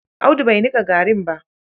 Audu bai nika garin ba.